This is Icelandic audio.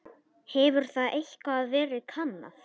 Hefur það eitthvað verið kannað?